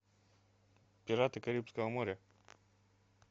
пираты карибского моря